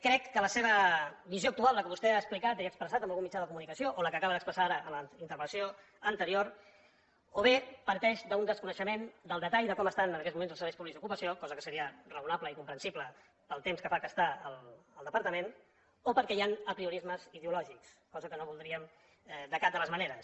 crec que la seva visió actual la que vostè ha explicat i ha expressat en algun mitjà de comunicació o la que acaba d’expressar ara en la interpel·lació anterior o bé parteix d’un desconeixement del detall de com estan en aquests moments els serveis públics d’ocupació cosa que seria raonable i comprensible pel temps que fa que està en el departament o perquè hi han apriorismes ideològics cosa que no voldríem de cap de les maneres